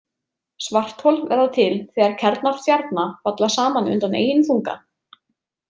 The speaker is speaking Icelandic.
Svarthol verða til þegar kjarnar stjarna falla saman undan eigin þunga.